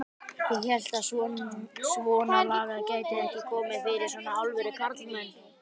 Ég hélt að svonalagað gæti ekki komið fyrir svona alvöru karlmenn.